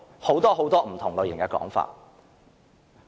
有很多不同的說法。